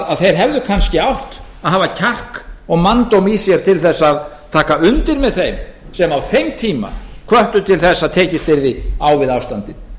að þeir hefðu kannski átt að hafa kjark og manndóm í sér til þess að taka undir með þeim sem á þeim tíma hvöttu til þess að tekist yrði á við ástandið